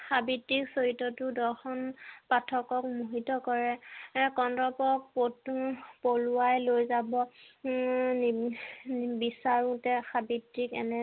সাৱিত্ৰীৰ চৰিত্ৰটো দৰ্শন পাঠকক মোহিত কৰে এই কন্দৰ্পক কতনো পলুৱাই লৈ যাব উম নিবিচাৰোতে সাৱিত্ৰীক এনে